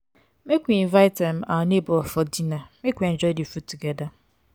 make we invite um our nebor for dinner make we enjoy di food togeda.